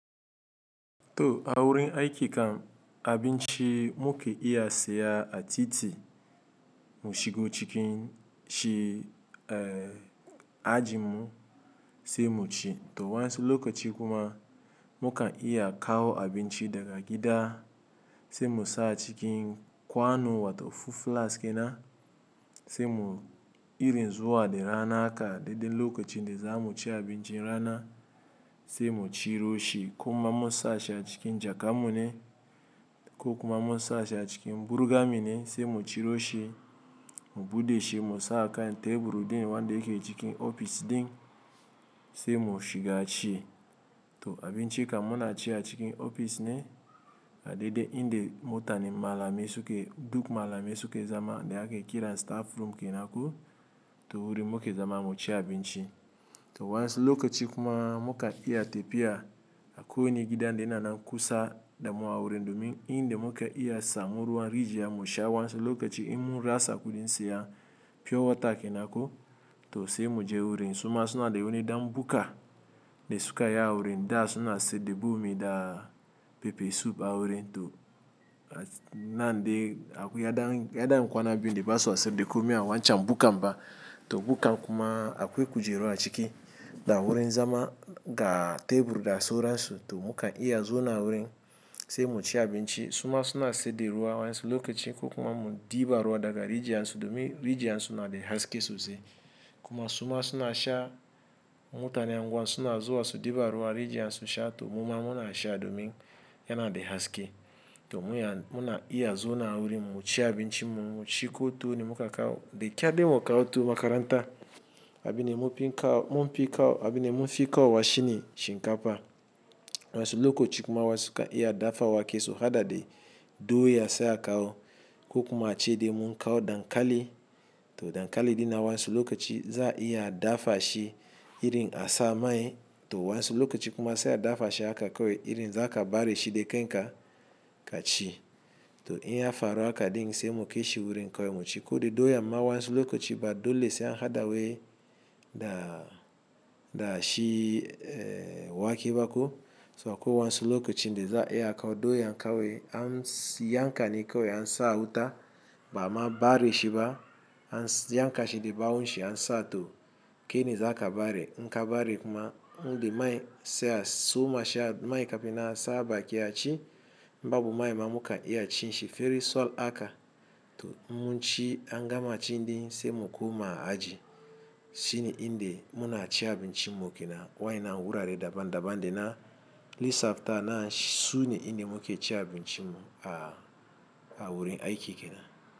To awurin aiki kam abinci muke iya siya a titi mu shigo cikin shi, eh ajin mu sai mu ci. To wansu lokaci kuma mukan iya kawo abinci daga gida sai mu sa cikin kwanu wato fuf flas ke na sai mu irin zuwa da rana haka daidai lokacin da za mu ci abincin rana sai mu ciro shi. Kuma mu sa shi a cikin jakan mu ne ko kuma mu sa shi a cikin burga mi ne sai mu ciro shi mu buɗe shi mu sa a kan teburi din wanda yake cikin ofis din sai mu shiga ci. To abinci kam muna ci a cikin ofis ne a daidai inda mutane malamai suke duka malamai suke zama dai ake kira staff room kenan ko to wurin muke zama mu ci abinci. To wansu lokaci kuma mukan iya tafiya a ko wani gidan da yana nan kusa da mu awurin domin inda muka iya samun ruwan rijiya mu sha wansu lokaci in mun rasa kuɗin siyan pure water kenan ko to sai mu je wurin. Suma suna da wani dam buka da suka yi awurin da suna saida bomi da pepe soup awurin to nan dai abu ya dan, ya dan kwana biyu de ba su saida komai a wancan bukan ba. To bukan kuma akwai kujeru a ciki da awurin zama ga tebur da sauransu to muka iya zowna a wurin sai mu ci abinci. Suma suna saida ruwa wansu lokaci ko kuma mu ɗiba ruwa daga rijiyan su domin rijiyan su na da haske sosai. Kuma suma suna sha mutane unguwa suna zuwa su ɗiba ruwa rijiya su sha to muma muna sha domin yana da haske. To mu kan muna iya zowna a wurin mu ci abincin muci ko tuwo ne muka kawo da kyar dai mu kawo tuwo makaranta abin da mun fi kawo mun fi kawo abin ne mun fi kawowa shi ne shinkafa. Wansu lokaci kuma wasu suka iya dafa wake su haɗa da doya sai a kawo ko kuma ace dai mun kawo dankali to dankali din nan wansu lokaci za'a iya a dafa shi irin a sa mai to wansu lokaci kuma sai a dafa shi gaka kawai irin za ka ɓare shi da kan ka ka ci. To in ya faru haka din sai mu kai shi wurin kawai mu ci ko dai doyan ma wansu lokaci ba dole sai an haɗa wai da da shi eh wake ba ko. So akwai wansu lokacin da za a iya a kawo doya kowai an yanka ne kawai an sa a wuta ba'a ma ɓare shi ba an si yankashi da bawon shi an sa to kai ne za ka ɓare. In ka ɓare kuma in da mai sai a soma shi a mai kafin a sa a baki a ci. Ba bu mai ma mukan iya cin shi feri suwal haka to mun ci an gama ci din sai mu koma aji. Shi ne in da muna ci abinci mu kenan wa'anan wurare daban daban da na lissaffa anan shi sune inda muke ci abinci mu a a wurin aiki kenan.